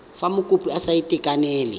fa mokopi a sa itekanela